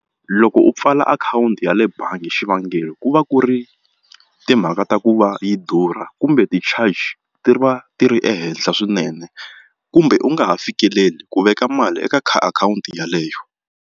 Loko u pfala akhawunti ya le bangi xivangelo ku va ku ri timhaka ta ku va yi durha kumbe ti-charge ti va ti ri ehenhla swinene kumbe u nga ha fikeleli ku veka mali eka akhawunti yeleyo.